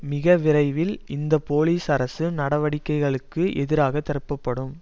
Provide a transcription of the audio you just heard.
மிக விரைவில் இந்த போலிஸ் அரசு நடவடிக்கைகளுக்கு எதிராக திருப்பப்படும்